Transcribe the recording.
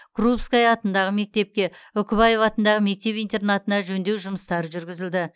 крупская атындағы мектепке үкібаев атындағы мектеп интернатына жөндеу жұмыстары жүргізілді